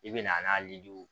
I bɛna n'a liliw